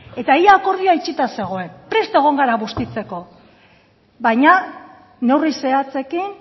eta ia akordioa itxita zegoen prest egon gara bustitzeko baina neurri zehatzekin